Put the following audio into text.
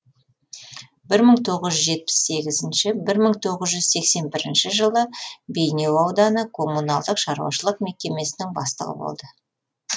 бір мың тоғыз жүз жетпіс сегізінші бірмың тоғызжүз сексен бірінші жылы бейнеу ауданы коммуналдық шаруашылық мекемесінің бастығы болды